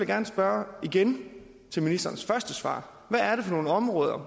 gerne spørge igen i ministerens første svar hvad er det for nogle områder